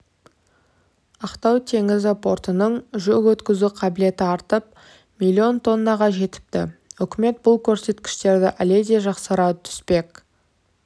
ақтау теңіз портының жүк өткізу қабілеті артып миллион тоннаға жетіпті үкімет бұл көрсеткіштерді әледе жақсарта түспек